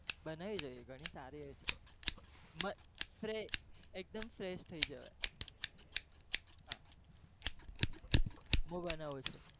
બનાવી જોઈ એ ગણી સારી હોય છે, મસ્ત એક દમ fresh થઇ જવાય, હા હું બનાઉં છું.